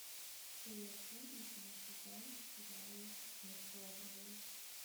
серия один восьмой сезон сериал метод лавровой